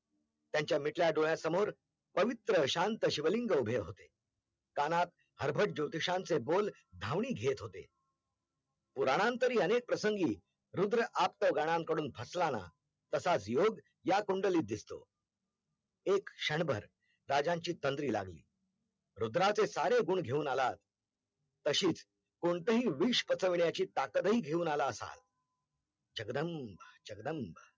या कुंडलीत दिसतो एक क्षणभर राजांची तंद्री लागली रुद्राचे सारे गुण घेऊन आलात तसेच कोणतंही विष पचवण्याची ताकत ही घेऊन आला असाल जगदंब जगदंब